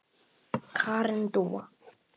Karen Dúa.